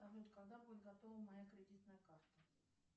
салют когда будет готова моя кредитная карта